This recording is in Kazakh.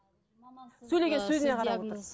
сөйлеген сөзіне қарап отырып